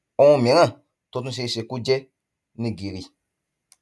ohun mìíràn tó tún ṣe é ṣe kó jẹ ni gìrì